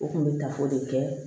U kun bɛ tafo de kɛ